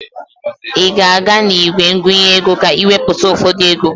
Ị ga-aga n'igwe ngụnye ego ka ị wepụta ụfọdụ ego?